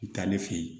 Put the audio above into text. N taa ne fɛ yen